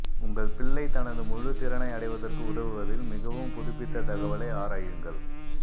உங்கள் பிள்ளை தனது முழு திறனை அடைவதற்கு உதவுவதில் மிகவும் புதுப்பித்த தகவலை ஆராயுங்கள்